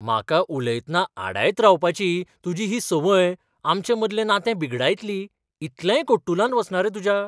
म्हाका उलयतना आडायत रावपाची तुजी ही संवय आमचेमदलें नातें बिगडायतली, इतलेंय कट्टुलांत वचना रे तुज्या?